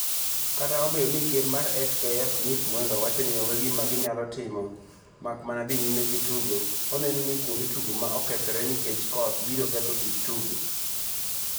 Kata obedo ni ker mar FKF Nick Mwendwa wacho ni onge gima ginyalo timo mak mana dhi nyime gi tugo, oneno ni kuonde tugo ma okethore nikech koth biro ketho kit tugo.